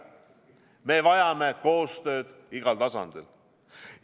Me vajame koostööd igal tasandil.